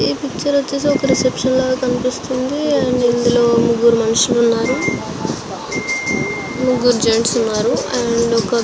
ఈ పిక్చర్ వచ్చేసి ఒక రెసెప్ప్టిన్ లాగా ఉన్నదీ. అండ్ ఇక్కడ ముగురు మనషులు ఉనారు. ముగ్గురు జెంట్స్ ఉన్నారు.